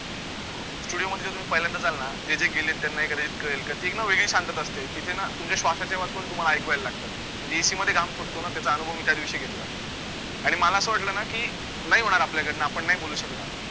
studio मध्ये जर तुम्ही पहिल्यांदा जाल ना जे जे गेले त्यांना एखाद्या वेळेस कळेल, की ती एक ना वेगळीच शांतता असते, तिथे ना तुमच्या श्वासचे आवाज पण तुम्हाला ऐकू यायला लागतात, जी AC मध्ये घाम फुटतो ना त्याचा अनुभव मी त्यादिवशी घेतला आणि मला असं वाटलं ना की, नाही होणार आपल्याकडनं आपण नाही बोलू शकणार